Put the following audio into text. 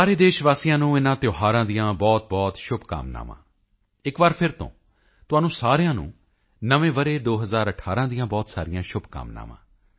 ਸਾਰੇ ਦੇਸ਼ ਵਾਸੀਆਂ ਨੂੰ ਇਨ੍ਹਾਂ ਤਿਓਹਾਰਾਂ ਦੀਆਂ ਬਹੁਤਬਹੁਤ ਸ਼ੁਭਕਾਮਨਾਵਾਂ ਇੱਕ ਵਾਰ ਫਿਰ ਤੋਂ ਤੁਹਾਨੂੰ ਸਾਰਿਆਂ ਨੂੰ ਨਵੇਂ ਵਰ੍ਹੇ 2018 ਦੀਆਂ ਬਹੁਤ ਸਾਰੀਆਂ ਸ਼ੁਭਕਾਮਨਾਵਾਂ